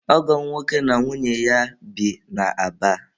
Ọgọ m nwoke na nwunye ya bi na Aba.